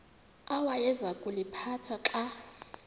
awayeza kuliphatha xa